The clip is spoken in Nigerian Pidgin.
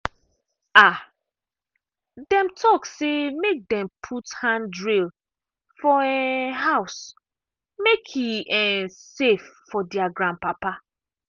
um dem talk say make dem put handrail for um house make e um safe for their grandpapa